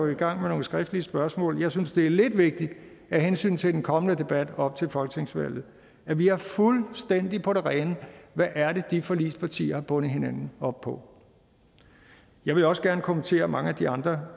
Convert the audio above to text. i gang med nogle skriftlige spørgsmål jeg synes det er lidt vigtigt af hensyn til den kommende debat op til folketingsvalget at vi har fuldstændig på det rene hvad det er de forligspartier har bundet hinanden op på jeg ville også gerne kommentere mange af de andre